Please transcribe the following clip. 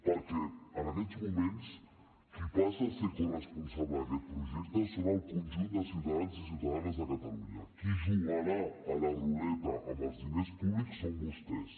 perquè en aquests moments qui passa a ser corresponsable d’aquest projecte són el conjunt de ciutadans i ciutadanes de catalunya qui jugarà a la ruleta amb els diners públics són vostès